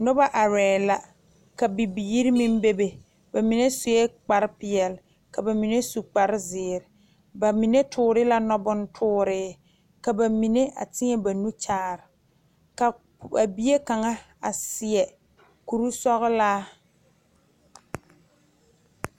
Noba are la ka bibiiri meŋ bebe bamine seɛ kpare peɛle ka bamine su kpare ziiri bamine tuure la noɔ bontuure ka bamine a teɛ ba nu Kyaara a bie kaŋa a seɛ kuri sɔglaa.